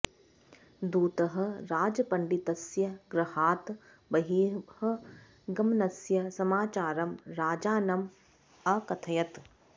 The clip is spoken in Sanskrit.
दूतः राजपण्डितस्य गृहात् बहिः गमनस्य समाचारं राजानम् अकथयत्